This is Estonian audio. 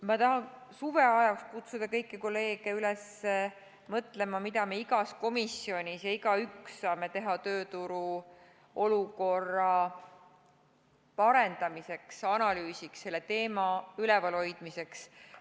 Ma tahan kutsuda kõiki kolleege suveajal üles mõtlema, mida me igas komisjonis ja igaüks saame teha tööturu olukorra parendamiseks, analüüsiks, selle teema üleval hoidmiseks.